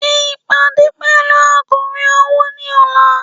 Ṣe ìpàdé pẹ̀lú akọ̀wé owó ní ọ̀la